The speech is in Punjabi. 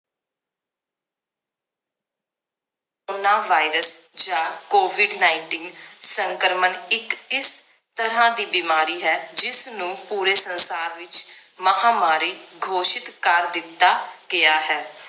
coronavirus ਜਾਂ covid nineteen ਸੰਕ੍ਰਮਣ ਇੱਕ ਇਸ ਤਰਾਹ ਦੀ ਬਿਮਾਰੀ ਹੈ ਜਿਸ ਨੂੰ ਪੂਰੇ ਸੰਸਾਰ ਵਿਚ ਮਹਾਮਾਰੀ ਘੋਸ਼ਿਤ ਕਰ ਦਿੱਤਾ ਗਿਆ ਹੈ